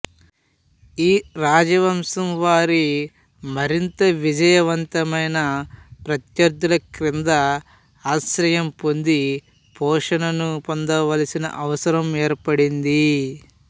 ఈ రాజవంశం వారి మరింత విజయవంతమైన ప్రత్యర్థుల కింద ఆశ్రయం పొంది పోషణను పొందవలసిన అవసరం ఏర్పడింది